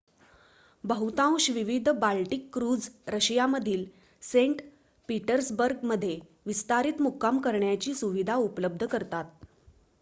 बहुतांश विविध Baltic cruise रशियामधील सेंट पीटर्सबर्गमध्ये विस्तारित मुक्काम करण्याची सुविधा उपलब्ध करतात